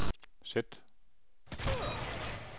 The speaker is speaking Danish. sæt